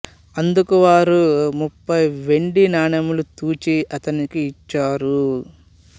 అందుకు వారు ముప్పై వెండి నాణెములు తూచి అతనికి ఇచ్చారు